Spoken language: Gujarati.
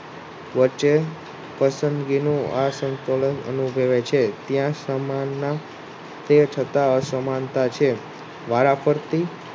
વચ્ચે પશંદગીનુ આસંતોલન અનુભવે છે ત્યાં સામાનના તે છતાં અસમાનતા છે વારાફરથી